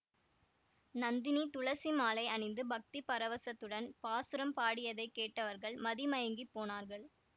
நந்தினி துளசிமாலை அணிந்து பக்தி பரவசத்துடன் பாசுரம் பாடியதைக் கேட்டவர்கள் மதிமயங்கிப் போனார்கள்